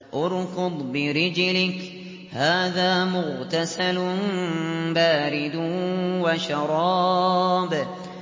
ارْكُضْ بِرِجْلِكَ ۖ هَٰذَا مُغْتَسَلٌ بَارِدٌ وَشَرَابٌ